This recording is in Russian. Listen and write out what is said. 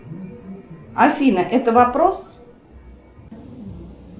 афина это вопрос